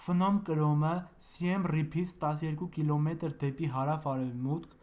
ֆնոմ կրոմը սիեմ ռիփից 12 կմ դեպի հարավ-արևմուտք